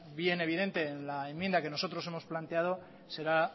bien evidente en la enmienda que nosotros hemos planteado será